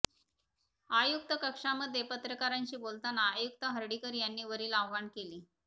आयुक्त कक्षामध्ये पत्रकारांशी बोलताना आयुक्त हर्डीकर यांनी वरील आवाहन केले